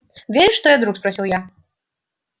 веришь что я друг спросил я